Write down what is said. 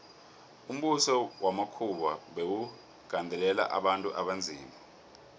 umbuso wamakhuwa bewugandelela abantu abanzima